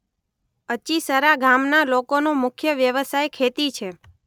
અચિસરા ગામના લોકોનો મુખ્ય વ્યવસાય ખેતી છે.